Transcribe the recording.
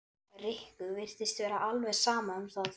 Rikku virtist vera alveg sama um það.